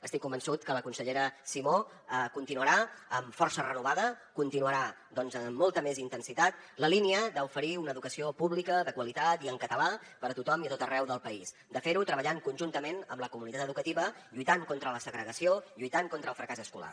estic convençut que la consellera simó continuarà amb força renovada continuarà doncs amb molta més intensitat la línia d’oferir una educació pública de qualitat i en català per a tothom i a tot arreu del país de fer ho treballant conjuntament amb la comunitat educativa lluitant contra la segregació lluitant contra el fracàs escolar